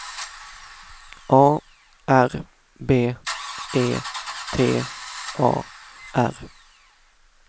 A R B E T A R